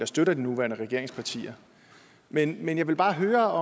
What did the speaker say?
støtter de nuværende regeringspartier men jeg vil bare høre